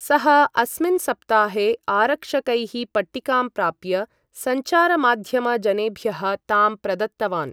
सः अस्मिन् सप्ताहे आरक्षकैः पट्टिकां प्राप्य संचारमाध्यम जनेभ्यः तां प्रदत्तवान्।